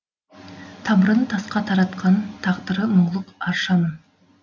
тамырын тасқа таратқан тағдыры мұңлық аршамын